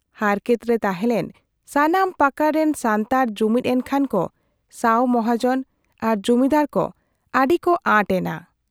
ᱦᱟᱨᱠᱮᱛ ᱨᱮ ᱛᱟᱦᱮᱞᱮᱱ ᱥᱟᱱᱟᱢ ᱯᱟᱠᱟᱲ ᱨᱮᱱ ᱥᱟᱱᱛᱟᱲ ᱡᱩᱢᱤᱫ ᱮᱱᱠᱷᱟᱱ ᱠᱚ ᱥᱟᱹᱣ ᱢᱚᱦᱟᱡᱚᱱ ᱟᱨ ᱡᱩᱢᱤᱫᱟᱨ ᱠᱚ ᱟᱹᱰᱤᱠᱚ ᱟᱸᱴ ᱮᱱᱟ ᱾